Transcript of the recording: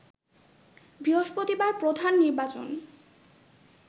বৃহস্পতিবার প্রধান নির্বাচন